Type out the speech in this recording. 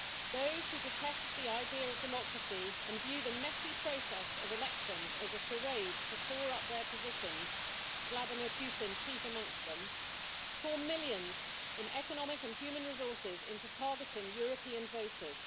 Those who detest the idea of democracy and view the messy process of elections as a charade to shore up their positions Vladimir Putin chief amongst them pour millions in economic and human resources into targeting European voters.